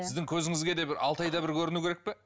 сіздің көзіңізге де бір алты айда бір көріну керек пе